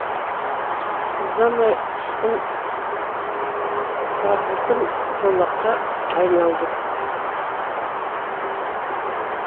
ұзамай ұшқын сарғылтым жолаққа айналды